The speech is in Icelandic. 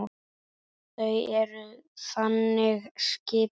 Þau eru þannig skipuð.